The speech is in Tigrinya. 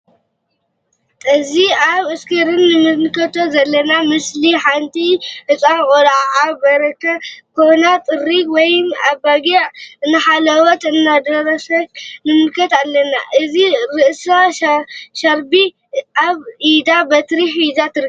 ጠዚ አብ እስክርን እንምልከት ዘለና ምስሊ ሓንቲ ህፃን ቆልዓ አብ በረካ ኮና ጥሪት ወይም አባጊዕ እንዳሓለውት እንዳጋሰየት ንምልከት አለና::አብ ርእሳ ሻርቢ አብ ኢዳ በትሪ ሒዛ ትርከብ::